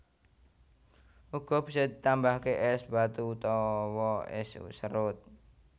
Uga bisa ditambahake es batu utawa es serut